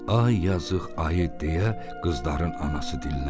Ay yazıq ayı, deyə qızların anası dilləndi.